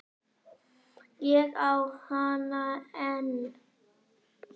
Ég á hana enn.